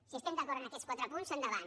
si estem d’acord en aquests quatre punts endavant